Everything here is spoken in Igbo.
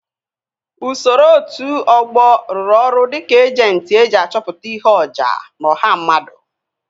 Usoro otu ọgbọ ruru ọrụ dịka ejentị eji achọpụta ihe oja n'ọha mmadụ